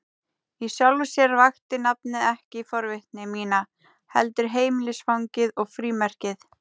Í sjálfu sér vakti nafnið ekki forvitni mína, heldur heimilisfangið og frímerkið.